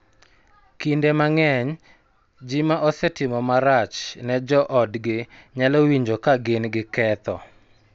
Kinde mang�eny, ji ma osetimo marach ne jo otgi nyalo winjo ka gin gi ketho,